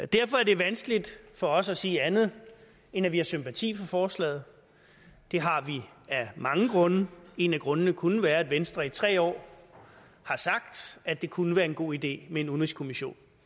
derfor er det vanskeligt for os at sige andet end at vi har sympati for forslaget det har vi af mange grunde en af grundene kunne være at venstre i tre år har sagt at det kunne være en god idé med en udenrigskommission